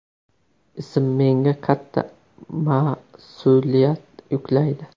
Ism menga katta mas’uliyat yuklaydi.